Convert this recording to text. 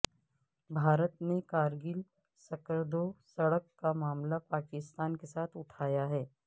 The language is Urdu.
بھارت نے کارگل سکردو سڑک کامعاملہ پاکستان کےساتھ اٹھایا ہے